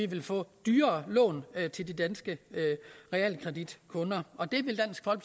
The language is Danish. vil få dyrere lån til de danske realkreditkunder og det